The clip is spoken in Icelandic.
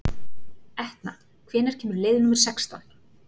Etna, hvenær kemur leið númer sextán?